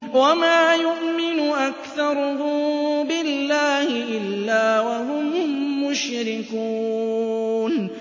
وَمَا يُؤْمِنُ أَكْثَرُهُم بِاللَّهِ إِلَّا وَهُم مُّشْرِكُونَ